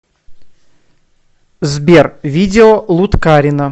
сбер видео луткарино